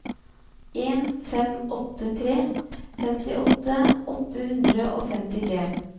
en fem åtte tre femtiåtte åtte hundre og femtitre